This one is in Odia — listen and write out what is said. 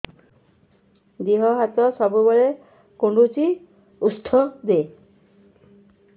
ଦିହ ହାତ ସବୁବେଳେ କୁଣ୍ଡୁଚି ଉଷ୍ଧ ଦେ